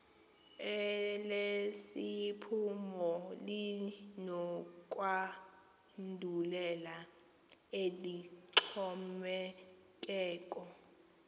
elesiphumo linokwandulela eloxhomekeko